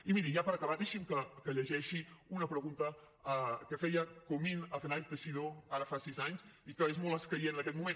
i miri ja per acabar deixinme que llegeixi una pregunta que feia comín a fernández teixidó ara fa sis anys i que és molt escaient en aquest moment